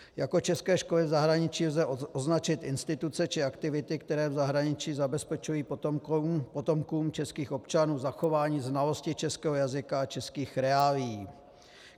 Jako české školy v zahraničí lze označit instituce či aktivity, které v zahraničí zabezpečují potomkům českých občanům zachování znalosti českého jazyka a českých reálií.